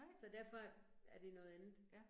Så derfor er det noget andet